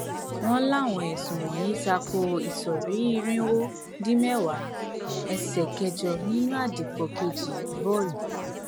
wọn láwọn ẹsùn wọnyí ta ko ìsọrí irínwó dín mẹwàá ẹsẹ kẹjọ nínú àdìpọ kejì vol